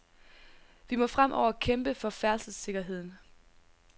Vi må fremover kæmpe for færdselssikkerheden.